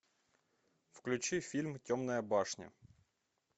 включи фильм темная башня